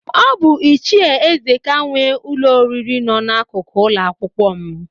Ọ bụ Ichie Ezeka nwe ụlọ oriri nọ n'akụkụ ụlọakwụkwọ m.